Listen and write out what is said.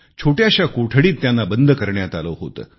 छोट्याशा कोठडीत त्यांना बंद करण्यात आले होते